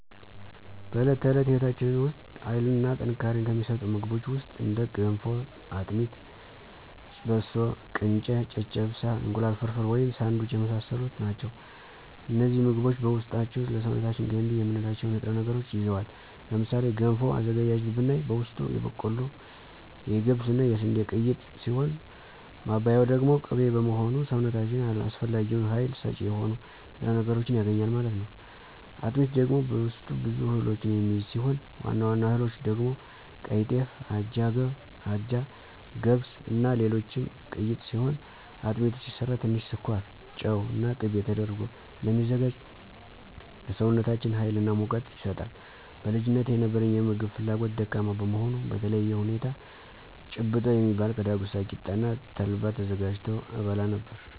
በዕለት ተዕለት ሕይወታችን ውስጥ ኃይልን እና ጥንካሬን ከሚሰጡን ምግቦች ውስጥ እንደ ገንፎ; አጥሚት; በሶ: ቅንጨ; ጨጨብሳ; እንቁላል ፍርፍር/ሳንዱች የመሳሰሉት ናቸው። እነዚህ ምግቦች በውስጣቸው ለሰውነታችን ገንቢ የምንላቸውን ንጥረ ነገሮችን ይዘዋል። ለምሳሌ ገንፎ አዘገጃጀት ብናይ በውስጡ የበቆሎ; የገብስ እና የስንዴ ቅይጥ ሲሆን ማባያው ደግሞ ቅቤ በመሆኑ ሰውነታችን አስፈላጊውን ሀይል ሰጭ የሆኑ ንጥረ ነገሮችን ያገኛል ማለት ነው። አጥሚት ደግሞ በውስጡ ብዙ እህሎችን የሚይዝ ሲሆን ዋና ዋና እህሎች ደግሞ ቀይጤፍ; አጃ; ገብስ; እና ሌሎችም ቅይጥ ሲሆን አጥሚቱ ሲሰራ ትንሽ ስኳር; ጨው እና ቂቤ ተደርጎ ስለሚዘጋጅ ለሰውነታችን ሀይል እና ሙቀትን ይሰጣል። በልጅነቴ የነበረኝ የምግብ ፍላጎት ደካማ በመሆኑ በተለየ ሁኔታ ጭብጦ የሚባል ከዳጉሳ ቂጣ እና ተልባ ተዘጋጅቶ እበላ ነበር።